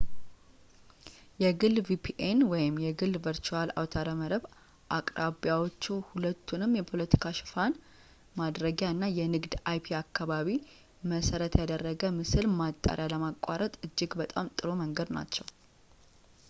የግል vpn የግል ቨርቹዋል አውታረ መረብ አቅራቢዎች ሁለቱንም የፖለቲካ ሸፋን ማድረጊያ እና የንግድ አይፒ-አካባቢ-መሰረት ያደረገ ምስል ማጣሪያ ለማቋረጥ እጅግ በጣም ጥሩ መንገድ ናቸው